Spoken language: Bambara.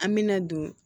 An me na don